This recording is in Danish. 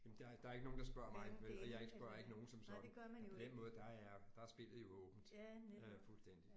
Jamen der der er ikke nogen der spørger mig vel og jeg ikke spørger ikke nogen som sådan. Og på den måde der er der er spillet jo åbent øh fuldstændig